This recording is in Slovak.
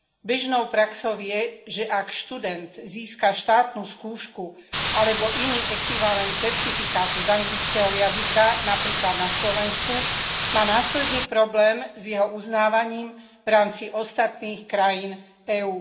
Bežnou praxou je, že ak študent získa štátnu skúšku alebo iný ekvivalent certifikátu z anglického jazyka napríklad na Slovensku, má následný problém s jeho uznávaním v rámci ostatných krajín EÚ.